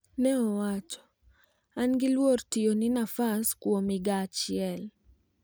ne owacho, " an gi luor tiyo ni nafas ni kuon higa achiel"